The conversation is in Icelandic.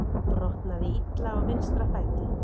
Brotnaði illa á vinstra fæti